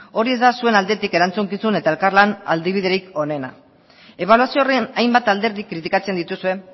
hori ez da zuen aldetik erantzukizun eta elkarlan adibiderik onena ebaluazio horren hainbat alderdi kritikatzen dituzue